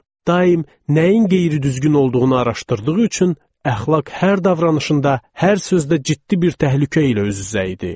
Daim nəyin qeyri-düzgün olduğunu araşdırdığı üçün əxlaq hər davranışında, hər sözdə ciddi bir təhlükə ilə üz-üzə idi.